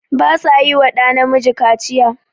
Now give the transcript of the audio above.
Ba sa yi wa ɗa Namiji Kaciya.